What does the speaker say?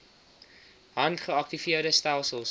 hand geaktiveerde stelsels